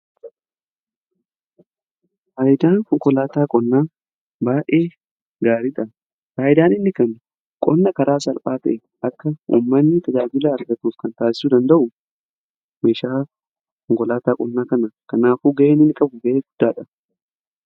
Faayidaan konkolaataa qonnaa baay'ee gaariidha. Faayidaan inni kennu qonna karaa salphaa ta'een akka uummanni tajaajila argatuuf kan taasisu danda'u meeshaa konkolaataa qonnaa kana. Kanaafuu ga'een inni qabu ga'ee guddaadha.